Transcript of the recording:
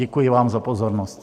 Děkuji vám za pozornost.